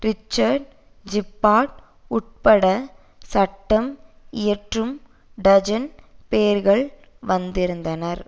Richard Gephardt உட்பட சட்டம் இயற்றும் டஜன் பேர்கள் வந்திருந்தனர்